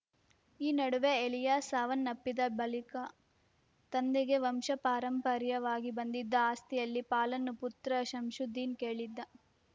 ಈ ನಡುವೆ ಎಲಿಯಾಸ್‌ ಸಾವನ್ನಪ್ಪಿದ ಬಳಿಕ ತಂದೆಗೆ ವಂಶಪಾರಂಪರ‍್ಯವಾಗಿ ಬಂದಿದ್ದ ಆಸ್ತಿಯಲ್ಲಿ ಪಾಲನ್ನು ಪುತ್ರ ಶಂಶುದ್ದೀನ್‌ ಕೇಳಿದ್ದ